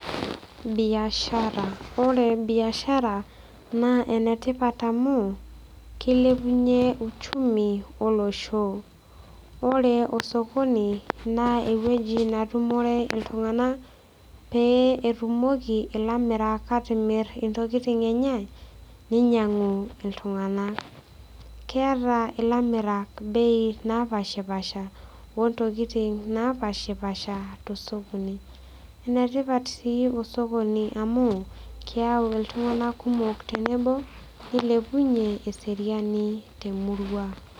Biashara ore biashara na enetipat oleng amu kilepunye uchumi olosho ore osokoni na ewueji natumore ltunganak petumoki ilamirak atimir ntokitin enye ninyangu ltunganak, keeta lamirak bei napashipasha ontokitin napashipasha tosokoni, enetipat si osokoni amu keyau ltungani kumok tenebo nilepunye eseriani.